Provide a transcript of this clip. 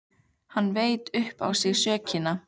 Hann veit upp á sig sökina.